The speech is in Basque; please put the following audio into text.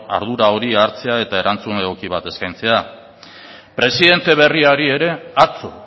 ardura hori hartzea eta erantzun egoki bat eskaintzea presidente berriari ere atzo